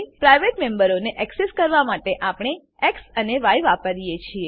private મેમ્બરોને access કરવા માટે આપણે એક્સ અને ય વાપરીએ છીએ